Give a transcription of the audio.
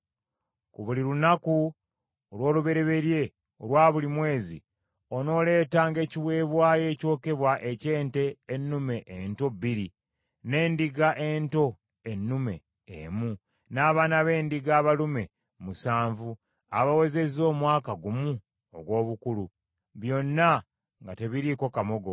“Ku buli lunaku olw’olubereberye olwa buli mwezi onooleetanga eri Mukama ekiweebwayo ekyokebwa eky’ente ennume ento bbiri, n’endiga ento ennume emu, n’abaana b’endiga abalume musanvu abawezezza omwaka ogumu ogw’obukulu; byonna nga tebiriiko kamogo.